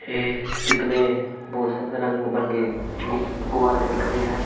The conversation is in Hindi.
ये स्पिक में बहुत सार रंग बंगे गु गुवारे दिख रहे हैं।